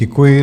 Děkuji.